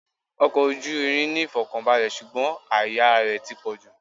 Ọkọ̀ ojú irin ní ìfọ̀kànbalè, ṣùgbọ́n àìyára rẹ̀ ti pọ̀jù.